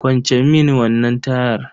Kwance mini wannan tayar.